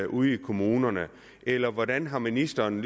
ude i kommunerne eller hvordan har ministeren